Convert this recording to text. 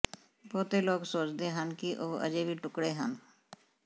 ਬਹੁਤੇ ਲੋਕ ਸੋਚਦੇ ਹਨ ਕਿ ਉਹ ਅਜੇ ਵੀ ਟੁਕਡ਼ੇ ਹਨ